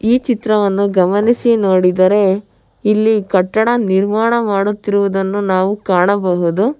ಈ ಚಿತ್ರವನ್ನು ಗಮನಿಸಿ ನೋಡಿದರೆ ಇಲ್ಲಿ ಕಟ್ಟಡ ನಿರ್ಮಾಣ ಮಾಡುತ್ತಿರುವುದನ್ನು ನಾವು ಕಾಣಬಹುದು.